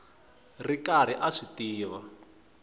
ri karhi a swi tiva